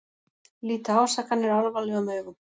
Líta ásakanir alvarlegum augum